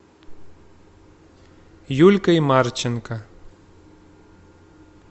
юлькой марченко